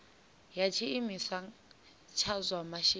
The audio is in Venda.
ya tshiimiswa tsha zwa masheleni